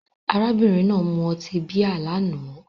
Arábìnrin náà mu ọtí bíà lánàá